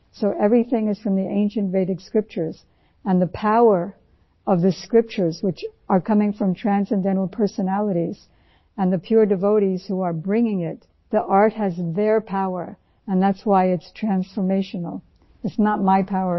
So everything is from ancient Vedic scriptures and the power of these scriptures which are coming from transcendental personalities and the pure devotees who are bringing it the art has their power and that's why its transformational, it is not my power at all